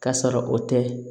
Ka sɔrɔ o tɛ